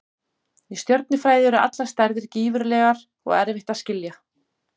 Í stjörnufræði eru allar stærðir gífurlegar og erfitt að skilja.